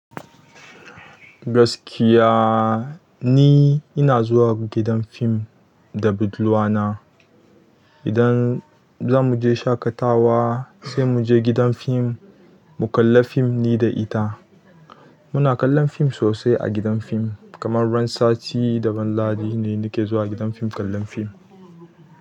Gaskiya ni ina zuwa gidan film da budurwana idan za mu je shaƙatawa sai mu je gidan fim mu kalla fim ni da ita. Muna kallon fim sosai a gidan fim kamar ran sati da ran lahadi ne nake zuwa gidan fim kallon fim.